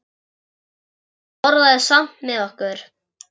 En hún borðaði samt með okkur.